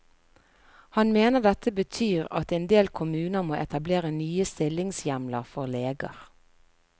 Han mener dette betyr at en del kommuner må etablere nye stillingshjemler for leger.